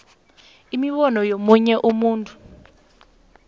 imibono yomunye umuntu